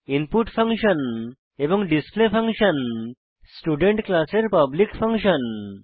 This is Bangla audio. ইনপুট ফাংশন এবং ডিসপ্লে ফাংশন স্টুডেন্ট ক্লাসের পাবলিক ফাংশন